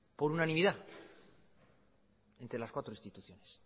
por unanimidad entre las cuatro instituciones